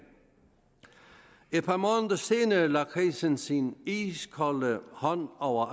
et par måneder senere lagde krisen sin iskolde hånd over